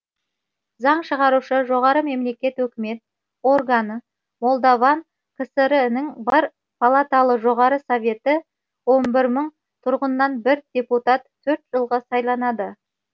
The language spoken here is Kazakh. заң шығарушы жоғары мемлекет өкімет органы молдаван кср інің бар палаталы жоғары советі он бір мың тұрғыннан бір депутат төрт жылға сайланады